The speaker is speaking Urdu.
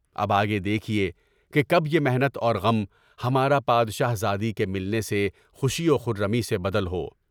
اب آگے دیکھیے کے کب یہ محنت اور غم ہمارا بادشاہزادی کے ملنے سے خوشی وخرّمی میں بدل ہو۔